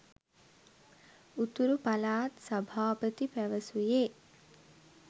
උතුරු පළාත් සභාපති පැවසුයේ